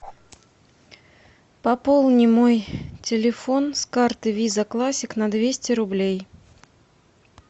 пополни мой телефон с карты виза классик на двести рублей